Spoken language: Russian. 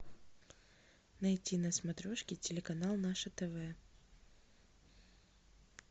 найти на смотрешке телеканал наше тв